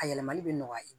A yɛlɛmali bɛ nɔgɔya